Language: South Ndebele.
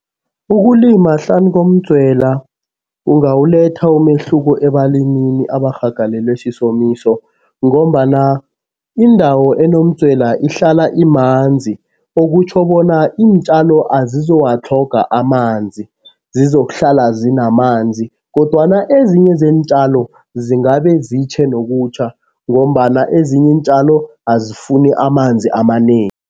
Ukulima hlanu komdzwela kungawuletha umehluko ebalimini abarhagalelwe sisomiso ngombana indawo enomdzwela ihlala imanzi. Okutjho bona iintjalo azizuwatlhoga amanzi, zizokuhlala zinamanzi kodwana ezinye zeentjalo zingabe zitjhe nokutjha ngombana ezinye iintjalo azifuni amanzi amanengi.